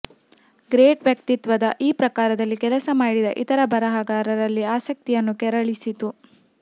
great ವ್ಯಕ್ತಿತ್ವದ ಈ ಪ್ರಕಾರದಲ್ಲಿ ಕೆಲಸ ಮಾಡಿದ ಇತರ ಬರಹಗಾರರಲ್ಲಿ ಆಸಕ್ತಿಯನ್ನು ಕೆರಳಿಸಿತು